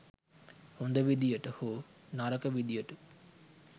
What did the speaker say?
හොඳ විදියට හෝ නරක විදියට